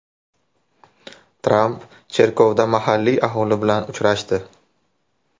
Tramp cherkovda mahalliy aholi bilan uchrashdi.